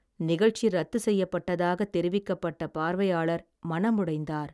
நிகழ்ச்சி ரத்து செய்யப்பட்டதாக தெரிவிக்கப்பட்ட பார்வையாளர் மனமுடைந்தார்.